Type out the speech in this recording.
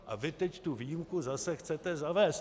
A vy teď tu výjimku zase chcete zavést.